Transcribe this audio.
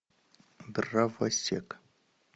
дровосек